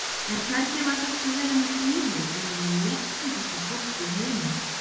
En hvernig var hægt að vera með fýlu innan um léttlyndasta fólk í heimi?